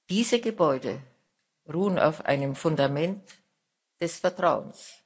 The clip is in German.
Diese Gebäude ruhen auf einem Fundament des Vertrauens.